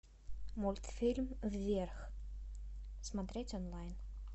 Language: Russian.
мультфильм вверх смотреть онлайн